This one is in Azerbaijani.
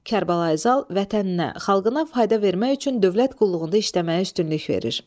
Kərbəlayi Zal vətəninə, xalqına fayda vermək üçün dövlət qulluğunda işləməyə üstünlük verir.